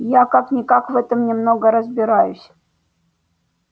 я как-никак в этом немного разбираюсь